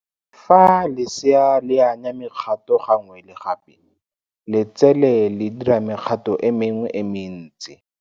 Fa lesea le anya mekgato gangwe le gape, letsele le dira mekgato e mengwe e mentsi.